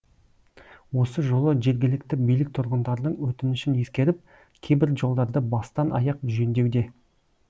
осы жолы жергілікті билік тұрғындардың өтінішін ескеріп кейбір жолдарды бастан аяқ жөндеуде